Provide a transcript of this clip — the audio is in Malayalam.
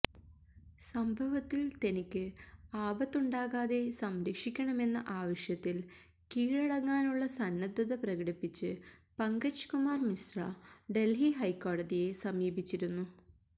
സംഭവത്തിൽ തനിക്ക് ആപത്തുണ്ടാകാതെ സംരക്ഷിക്കണമെന്ന ആവശ്യത്തിൽ കീഴടങ്ങാനുള്ള സന്നദ്ധത പ്രകടിപ്പിച്ച് പങ്കജ് കുമാർ മിശ്ര ഡൽഹി ഹൈക്കോടതിയെ സമീപിച്ചിരുന്നു